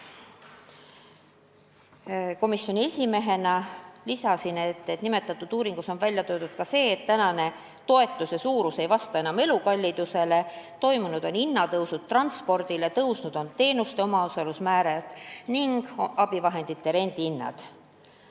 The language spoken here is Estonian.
Komisjoni esimehena lisasin, et nimetatud uuringus on kirjas ka see, et praegune toetuse suurus ei vasta enam elukallidusele, tõusnud on transpordi hind, samuti teenuste omaosalusmäärad ja abivahendite rendihinnad.